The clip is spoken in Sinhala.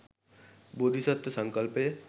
බෝධිසත්ත්ව සංකල්පය